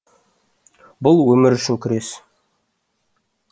бұл өмір үшін күрес